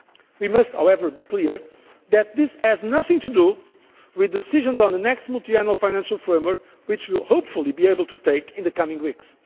We must, however, be clear that this has nothing to do with the decisions on the next Multiannual Financial Framework, which we will, hopefully, be able to take in the coming